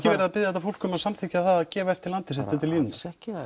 verið að biðja þetta fólk um að samþykkja það að gefa eftir landið sitt undir línuna alls ekki það